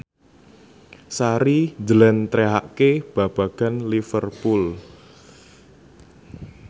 Sari njlentrehake babagan Liverpool